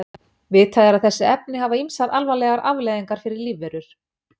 Vitað er að þessi efni hafa ýmsar alvarlegar afleiðingar fyrir lífverur.